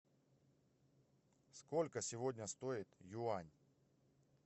сколько сегодня стоит юань